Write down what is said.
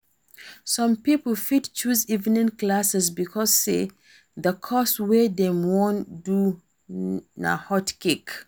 Some pipo fit choose evening class because say the course wey dem won do na hot cake